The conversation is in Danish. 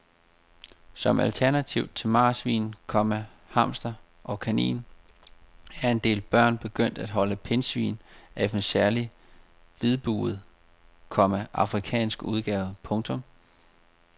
Som alternativ til marsvin, komma hamster og kanin er en del børn begyndt at holde pindsvin af en særlig hvidbuget, komma afrikansk udgave. punktum